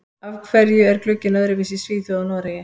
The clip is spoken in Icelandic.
Af hverju er glugginn öðruvísi í Svíþjóð og Noregi?